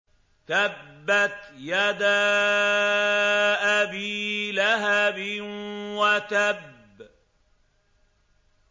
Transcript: تَبَّتْ يَدَا أَبِي لَهَبٍ وَتَبَّ